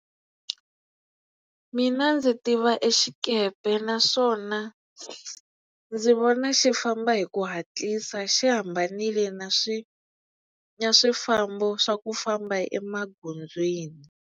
Mina ndzi tiva exikepe naswona ndzi vona xi famba hi ku hatlisa xi hambanile na swi na swifambo swa ku famba emagondzweni.